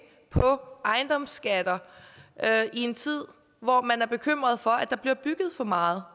på ejendomsskatter i en tid hvor man er bekymret for at der bliver bygget for meget